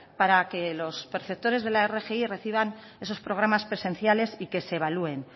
para que los perceptores de la rgi reciban esos programas presenciales y que se evalúen